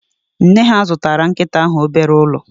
Nne ha zụtara nkịta ahụ obere ụlọ